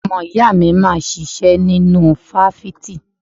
Ọmọ ìyá mi wà máa ṣiṣẹ́ nínú fáfitì.